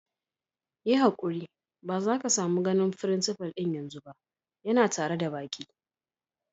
Yi hankuti ba za ka samu ganin frincipa'n yanzu ba, ya na tare da baki.